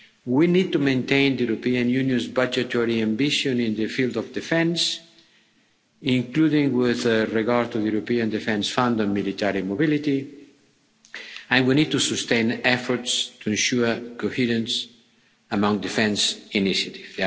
We need to maintain the European Union's budgetary ambition in the field of defence, including with regard to the European Defence Fund and military mobility, and we need to sustain efforts to ensure coherence among defence initiatives.